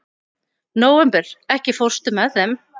Nóvember, ekki fórstu með þeim?